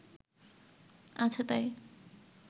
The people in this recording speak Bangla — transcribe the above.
আছে তাই